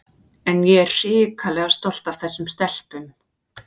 En ég er hrikalega stolt af þessum stelpum.